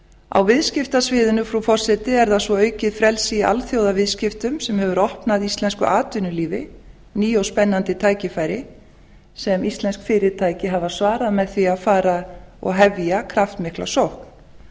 á viðskiptasviðinu frú forseti er það svo aukið frelsi í alþjóðaviðskiptum sem hefur opnað íslensku atvinnulífi ný og spennandi tækifæri sem íslensk fyrirtæki hafa svarað með því að fara og hefja kraftmikla sókn